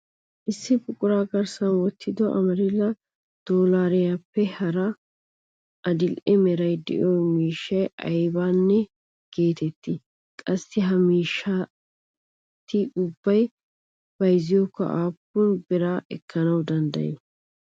Issi buquraa garssan wottido Ameerilla doollariyappe hara adil"e meray de'iyo miishshay aybna getettii? Qassi ha maashshineti ubbay bayzziyakko aappun bira ekkana dendday?